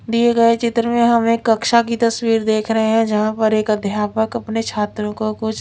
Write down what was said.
दिए गए चित्र में हम एक कक्षा की तस्वीर देख रहे है जहां पर एक अध्यापक अपने छात्रों को कुछ--